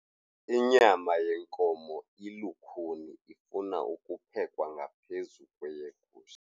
Inyama yenkomo ilukhuni ifuna ukuphekwa ngaphezu kweyegusha.